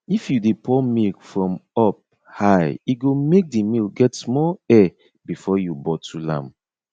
if you de pour milk from up high e go make the milk get small air before you bottle am